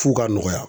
F'u ka nɔgɔya